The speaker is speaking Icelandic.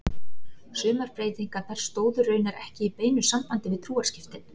Sumar breytingarnar stóðu raunar ekki í beinu sambandi við trúarskiptin.